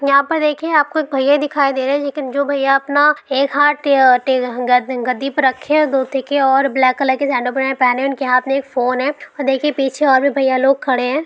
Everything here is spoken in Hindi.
यहां पर देखिए यहां आपको एक भैया दिखाई दे रहे हैं लेकिन जो भैया अपना एक हाथ ब्लैक कलर के पहने हैं उनके हाथ में फोन है और देखिए पीछे और भी भैया लोग खड़े हैं।